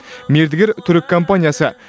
мердігер түрік компаниясы